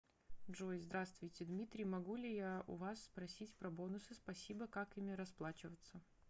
джой здравствуйте дмитрий могу ли я у вас спросить про бонусы спасибо как ими расплачиваться